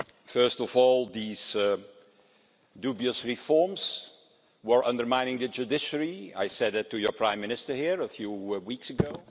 First of all, these dubious reforms were undermining the judiciary I said that to your Prime Minister here a few weeks ago.